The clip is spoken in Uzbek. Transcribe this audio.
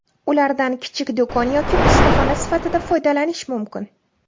Ulardan kichik do‘kon yoki ustaxona sifatida foydalanish mumkin.